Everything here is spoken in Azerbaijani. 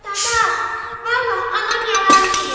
Qardaş, vallax anam yalan deyir.